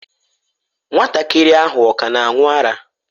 Nwatakịrị ahụ ọ ka na-aṅụ ara?